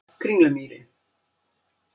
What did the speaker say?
Kringlumýri